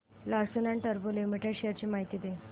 Larsen and टुर्बो limited shares ची माहिती दे